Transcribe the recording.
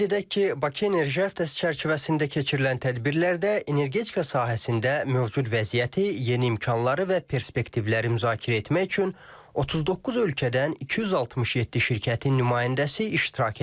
Qeyd edək ki, Bakı enerji həftəsi çərçivəsində keçirilən tədbirlərdə energetika sahəsində mövcud vəziyyəti, yeni imkanları və perspektivləri müzakirə etmək üçün 39 ölkədən 267 şirkətin nümayəndəsi iştirak edir.